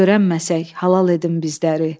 Görənməsək, halal edin bizləri.